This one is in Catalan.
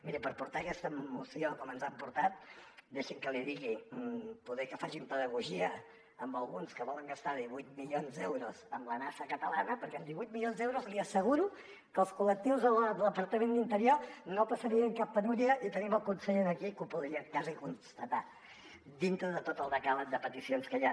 miri per portar aquesta moció com ens han portat deixi’m que l’hi digui poder que facin pedagogia amb alguns que volen gastar divuit milions d’euros en la nasa catalana perquè amb divuit milions d’euros li asseguro que els collectius del departament d’interior no passarien cap penúria i tenim el conseller aquí que ho podria quasi constatar dintre de tot el decàleg de peticions que hi ha